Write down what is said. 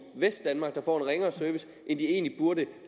vestdanmark der får en ringere service end de egentlig burde